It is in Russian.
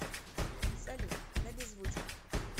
салют на беззвучку